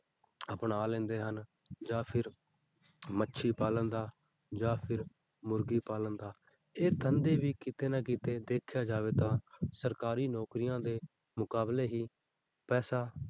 ਅਪਣਾ ਲੈਂਦੇ ਹਨ, ਜਾਂ ਫਿਰ ਮੱਛੀ ਪਾਲਣ ਦਾ ਜਾਂ ਫਿਰ ਮੁਰਗੀ ਪਾਲਣ ਦਾ, ਇਹ ਧੰਦੇ ਵੀ ਕਿਤੇ ਨਾ ਕਿਤੇ ਦੇਖਿਆ ਜਾਵੇ ਤਾਂ ਸਰਕਾਰੀ ਨੌਕਰੀਆਂ ਦੇ ਮੁਕਾਬਲੇ ਹੀ ਪੈਸਾ,